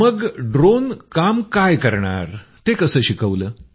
मग ड्रोन काम काय करणार ते कसं शिकवलं